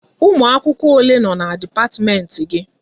Ụmụ akwụkwọ ole nọ n'dipatimenti gị?